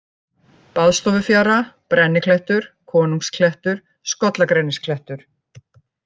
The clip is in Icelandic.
Baðstofufjara, Brenniklettur, Konungsklettur, Skollagrenisklettur